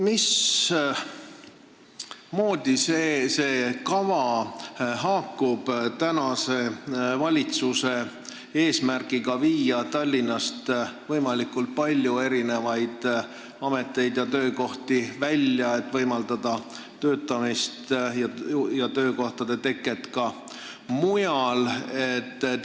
Mismoodi see kava haakub tänase valitsuse eesmärgiga viia Tallinnast võimalikult palju ameteid ja töökohti välja, et võimaldada töötamist ja töökohtade teket ka mujal?